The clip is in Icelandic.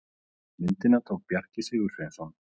myndina tók bjarki sigursveinsson